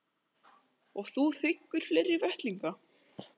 Og þú þiggur fleiri vettlinga?